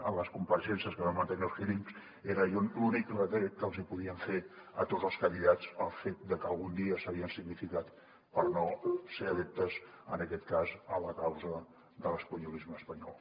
en les compareixences que vam mantenir als hearings era l’únic retret que els hi podien fer a tots els candidats el fet de que algun dia s’havien significat per no ser adeptes en aquest cas a la causa de l’espanyolisme espanyol